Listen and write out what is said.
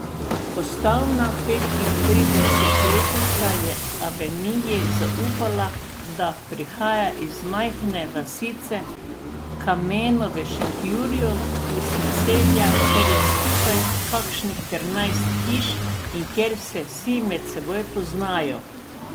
Postavna petintridesetletnica je Aveniji zaupala, da prihaja iz majhne vasice Kameno v Šentjurju, iz naselja, kjer je skupaj kakšnih trinajst hiš in kjer se vsi se med seboj poznajo.